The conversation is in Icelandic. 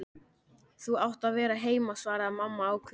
Þú átt að vera heima, svaraði mamma ákveðin.